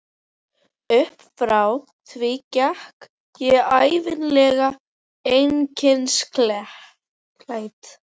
Uppfrá því gekk ég ævinlega einkennisklædd.